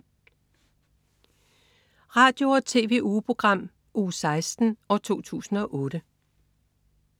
Radio- og TV-ugeprogram Uge 16, 2008